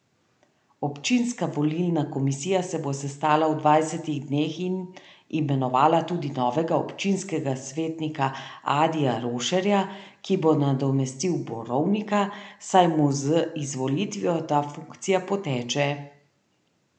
Občinska volilna komisija se bo sestala v dvajsetih dneh in imenovala tudi novega občinskega svetnika Adija Rošerja, ki bo nadomestil Borovnika, saj mu z izvolitvijo ta funkcija poteče.